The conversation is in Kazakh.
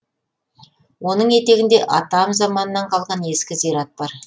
оның етегінде атам заманнан қалған ескі зират бар